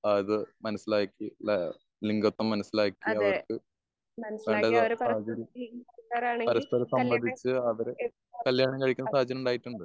ആഹ് അത് മനസ്സിലാക്കി ഏഹ് ലിംഗത്വം മനസ്സിലാക്കി അവർക്ക് വേണ്ടുന്ന സാഹചര്യം പരസ്പരം സംബന്ധിച്ച് അവര് കല്യാണം കഴിക്കുന്ന സാഹചര്യം ഉണ്ടായിട്ടുണ്ട്.